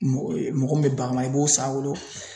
Mɔ ee mɔgɔ min be bagan mara i b'o san a bolo